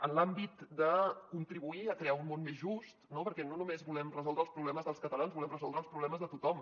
en l’àmbit de contribuir a crear un món més just no perquè no només volem resoldre els problemes dels catalans volem resoldre els problemes de tothom